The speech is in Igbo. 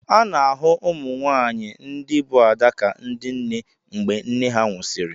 A na-ahụ ụmụ nwaanyị ndị bụ Ada ka ndị nne mgbe nne ha nwụsịrị.